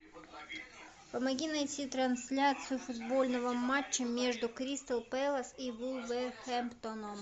помоги найти трансляцию футбольного матча между кристал пэлас и вулверхэмптоном